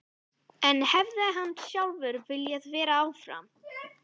En hefði hann sjálfur viljað vera áfram?